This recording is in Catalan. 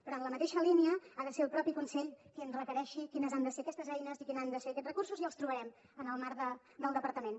però en la mateixa línia ha de ser el propi consell qui ens requereixi quines han de ser aquestes eines i quins han de ser aquests recursos i els trobarem en el marc del departament